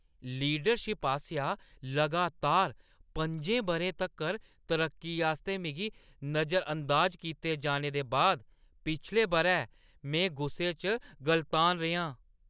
Leadership आसेआ लगातार पं'जें बʼरें तक्कर तरक्की आस्तै मिगी नजरअंदाज कीते जाने दे बाद पिछले बʼरै में गुस्से च गलतान रेहां।